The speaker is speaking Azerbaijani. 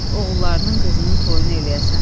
Oğullarının, qızının toyunu eləyəsən.